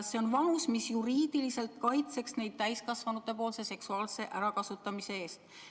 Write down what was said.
See on vanus, mis juriidiliselt kaitseks neid täiskasvanute seksuaalse ärakasutamise eest.